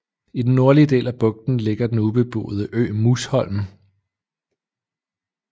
I den nordlige del af bugten ligger den ubeboede ø Musholm